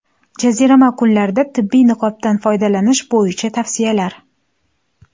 Jazirama kunlarda tibbiy niqobdan foydalanish bo‘yicha tavsiyalar.